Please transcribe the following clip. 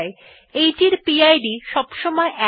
এইটির পিড সবসময় ১ হয়